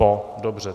Po. Dobře.